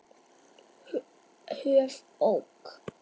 höf. ók.